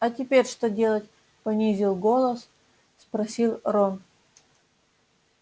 а теперь что делать понизив голос спросил рон